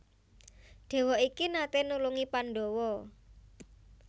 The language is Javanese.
Déwa iki naté nulungi Pandhawa